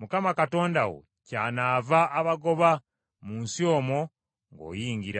Mukama Katonda wo kyanaava abagoba mu nsi omwo ng’ogiyingira.